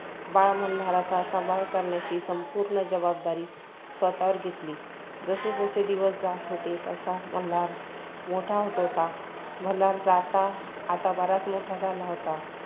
बाळ मल्हारचा सांभाळ करण्याची संपूर्ण जबाबदारी स्वतःवर घेतली. जसे -जसे दिवस जात होते तसा मल्हार मोठा होत होता. मल्हार जाता आठ भरत मोठा झाला होता.